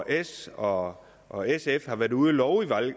s og og sf har været ude at love i